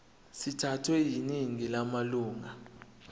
sithathwe yiningi lamalunga